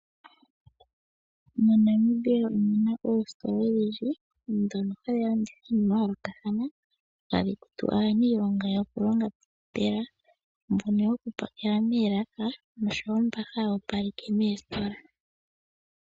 MoNamibia omu na oositola odhindji ndhono hadhi landitha iinima ya yoolokathana, tadhi kutu aaniilonga yokulonga pomashina, mbono yokupakela moolaka noshowo mboka haya opaleke moositola.